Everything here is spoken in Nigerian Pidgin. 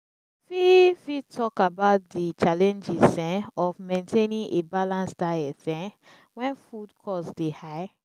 you fit fit talk about di challenges um of maintaining a balanced diet um when food costs dey high?